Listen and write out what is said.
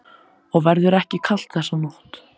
Og verður ekki kalt þessa nótt.